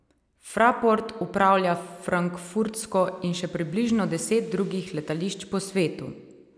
Fraport upravlja frankfurtsko in še približno deset drugih letališč po svetu.